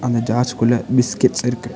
அந்த ஜார்ஸ் குள்ள பிஸ்கட்ஸ் இருக்கு.